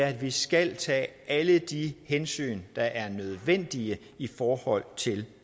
at vi skal tage alle de hensyn der er nødvendige i forhold til